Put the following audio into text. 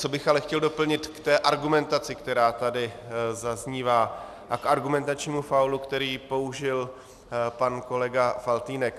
Co bych ale chtěl doplnit k té argumentaci, která tady zaznívá, a k argumentačnímu faulu, který použil pan kolega Faltýnek.